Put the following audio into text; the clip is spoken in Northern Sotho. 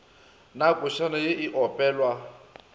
na košana ye e opelwa